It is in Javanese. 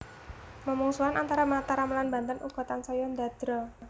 Memungsuhan antara Mataram lan Banten uga tansaya ndadra